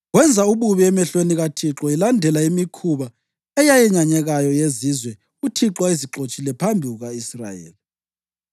Wenza ububi emehlweni kaThixo, elandela imikhuba eyenyanyekayo yezizwe uThixo ayezixotshile phambi kuka-Israyeli.